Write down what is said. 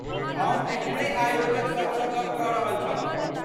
हम अखनहि आयोजक सभसँ गप्प कऽ रहल छलहुँ।